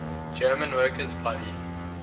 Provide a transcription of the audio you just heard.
german workers party